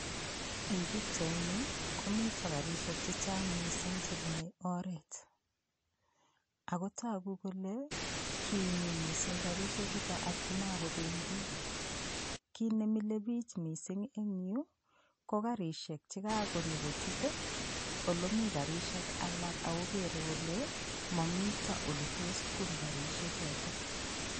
Eng' pikchaini komito karishek chechang' mising' chebunei oret ako toku kole kinyi mising' karishe chuto atkomakobendi kit nemilei biich mising' eng' yu ko karishek che kakonyokochut ole mii karishek alak akokerei kole momito ole toss bun karishechoto